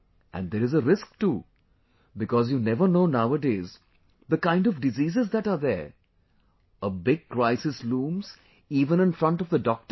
And there is a risk too, because you never know nowadays, the kind of diseases that are there, a big crisis looms even in front of the doctor